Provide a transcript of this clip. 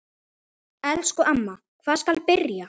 Elsku amma, hvar skal byrja?